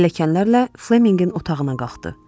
Pilləkənlərlə Flemminqin otağına qalxdı.